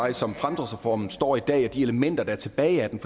at som fremdriftsreformen står i dag er de elementer der er tilbage af den